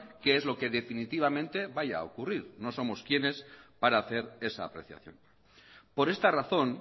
qué es lo que definitivamente vaya a ocurrir no somos quiénes para hacer esa apreciación por esta razón